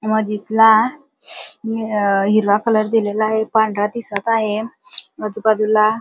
मस्जिदला हिरवा कलर दिलेला आहे पांढरा दिसत आहे आजूबाजूला--